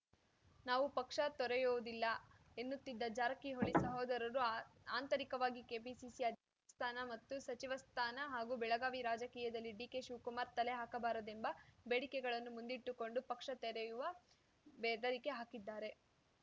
ನಾವು ಪಕ್ಷ ತೊರೆಯುವುದಿಲ್ಲ ಎನ್ನುತ್ತಿದ್ದ ಜಾರಕಿಹೊಳಿ ಸಹೋದರರು ಆ ಆಂತರಿಕವಾಗಿ ಕೆಪಿಸಿಸಿ ಅಧ್ಯಕ್ಷ ಸ್ಥಾನ ಮತ್ತು ಸಚಿವ ಸ್ಥಾನ ಹಾಗೂ ಬೆಳಗಾವಿ ರಾಜಕೀಯದಲ್ಲಿ ಡಿಕೆಶಿವಕುಮಾರ್‌ ತಲೆ ಹಾಕಬಾರದೆಂಬ ಬೇಡಿಕೆಗಳನ್ನು ಮುಂದಿಟ್ಟುಕೊಂಡು ಪಕ್ಷ ತೆರೆಯುವ ಬೆದರಿಕೆ ಹಾಕಿದ್ದಾರೆ